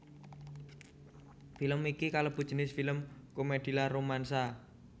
Film iki kalebu jinis film komèdi lan romansa